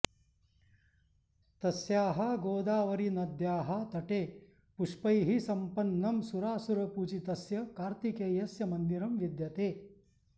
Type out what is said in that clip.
तस्याः गोदावरीनद्याः तटे पुष्पैः सम्पन्नं सुरासुरपूजितस्य कार्तिकेयस्य मन्दिरं विद्यते